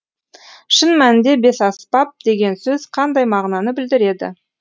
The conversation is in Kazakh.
шын мәнінде бесаспап деген сөз қандай мағынаны білдіреді